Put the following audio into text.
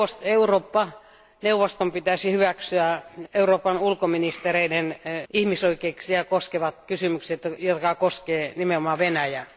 Eurooppa neuvoston pitäisi hyväksyä Euroopan ulkoministereiden ihmisoikeuksia koskevat kysymykset, jotka koskevat nimenomaan Venäjää.